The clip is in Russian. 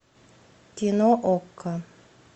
кино окко